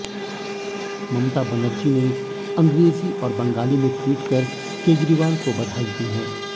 ममता बनर्जी ने अंग्रेजी और बंगाली में ट्वीट कर केजरीवाल को बधाई दी हैं